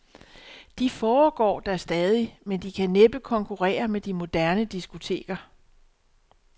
De foregår da stadig, men de kan næppe konkurrere med de moderne diskoteker.